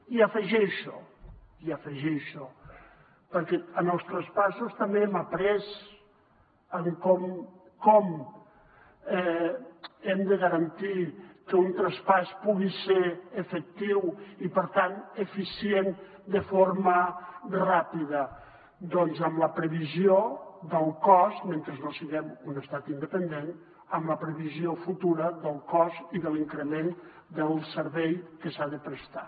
i hi afegeixo i hi afegeixo perquè en els traspassos també hem après com hem de garantir que un traspàs pugui ser efectiu i per tant eficient de forma ràpida doncs mentre no siguem un estat independent amb la previsió futura del cost i de l’increment del servei que s’ha de prestar